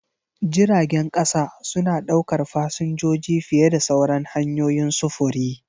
Jiragen ƙasa suna ɗaukar fasinjoji fiye da sauran hanyoyin sufuri.